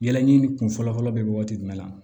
Yɛlɛ ni kun fɔlɔ fɔlɔ bɛ waati jumɛn la